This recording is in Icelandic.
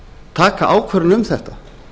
taka ákvörðun um þetta